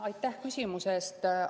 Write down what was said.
Aitäh küsimuse eest!